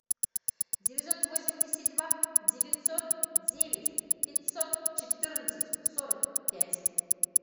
девятьсот восемьдесят два девятьсот девять пятьсот четырнадцать сорок пять